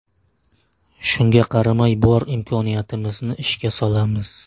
Shunga qaramay bor imkoniyatimizni ishga solamiz.